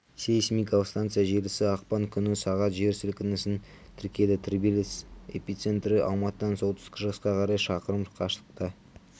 сейсмикалық станция желісі ақпан күні сағат жер сілкінісін тіркеді тербеліс эпицентрі алматыдан солтүстік-шығысқа қарай шақырым қашықтықта